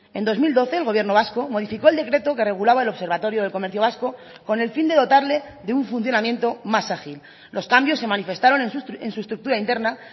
en dos mil doce el gobierno vasco modificó el decreto que regulaba el observatorio del comercio vasco con el fin de dotarle de un funcionamiento más ágil los cambios se manifestaron en su estructura interna